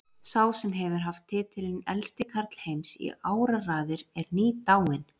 Sá sem hefur haft titilinn elsti karl heims í áraraðir er nýdáinn.